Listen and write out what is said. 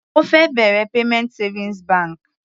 Ó fẹ́ bẹ̀rẹ̀ payment savings bank.